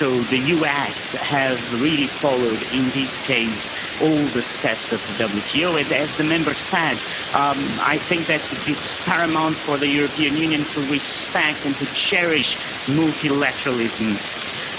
The US has really followed all the steps of the WTO in this case, and as the Member said, it is paramount for the European Union to respect and to cherish multilateralism.